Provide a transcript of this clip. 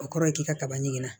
O kɔrɔ ye k'i ka kaba ɲininka